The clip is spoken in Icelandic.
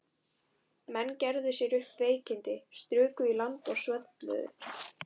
Menn gerðu sér upp veikindi, struku í land og svölluðu.